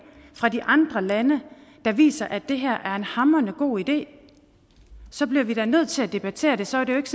fra de andre lande der viser at det her er en hamrende god idé så bliver vi da nødt til at debattere det så er det jo ikke